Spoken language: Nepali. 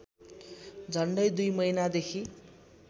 झन्डै २ महिनादेखि